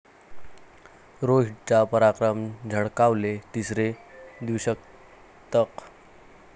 रो'हीट'चा पराक्रम, झळकावले तिसरे द्विशतक